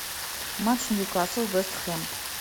матч ньюкасл вест хэм